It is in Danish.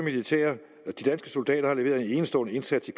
soldater har leveret en enestående indsats i